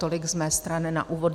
Tolik z mé strany na úvod.